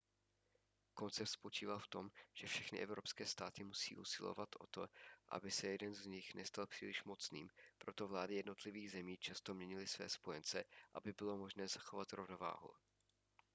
koncept spočíval v tom že všechny evropské státy musí usilovat o to aby se ani jeden z nich nestal příliš mocným proto vlády jednotlivých zemí často měnily své spojence aby bylo možné zachovat rovnováhu